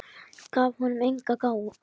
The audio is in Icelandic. Gaf honum engan gaum.